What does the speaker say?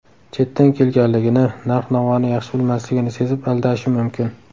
Chetdan kelganligini, narx-navoni yaxshi bilmasligini sezib aldashi mumkin.